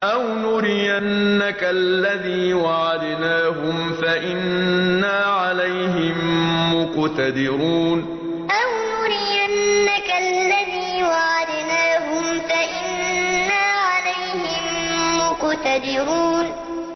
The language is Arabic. أَوْ نُرِيَنَّكَ الَّذِي وَعَدْنَاهُمْ فَإِنَّا عَلَيْهِم مُّقْتَدِرُونَ أَوْ نُرِيَنَّكَ الَّذِي وَعَدْنَاهُمْ فَإِنَّا عَلَيْهِم مُّقْتَدِرُونَ